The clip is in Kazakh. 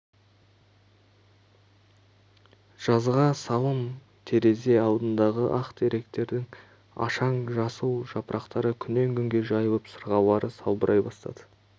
жазға салым терезе алдындағы ақ теректердің ашаң жасыл жапырақтары күннен күнге жайылып сырғалары салбырай бастады